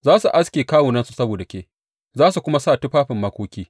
Za su aske kawunansu saboda ke za su kuma sa tufafin makoki.